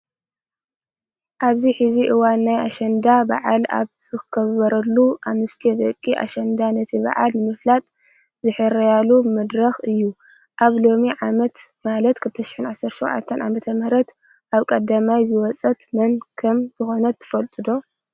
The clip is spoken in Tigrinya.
ኣብዚ ሕዚ እዋን ናይ ኣሸንዳ በዓል ኣብ ዝኽበረሉ ኣንስትዮ ደቂ ኣሸንዳ ነቲ በዓል ንምፍላጥ ዝሕረያሉ መድረክ እዩ። ኣብ ሎሚ ዓመት ማለት 2017 ዓ/ም ካብ ቀዳማይ ዝወፀት መን ከም ዝኾነት ትፈልጡ ዶ?